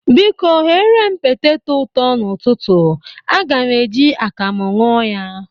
Biko, ghere m peteto ụtọ n'ụtụtụ. Aga m e ji akamụ ñụ ya.